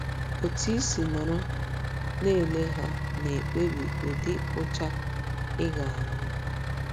Otú i si nọrọ na - ele ha na - ekpebi ụdị ụcha ị ga - ahụ.